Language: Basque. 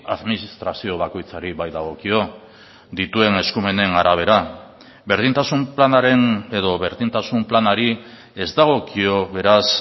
administrazio bakoitzari baitagokio dituen eskumenen arabera berdintasun planaren edo berdintasun planari ez dagokio beraz